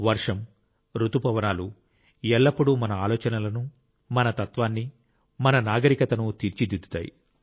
వర్షం రుతుపవనాలు ఎల్లప్పుడూ మన ఆలోచనలను మన తత్వాన్ని మన నాగరికతను తీర్చిదిద్దుతాయి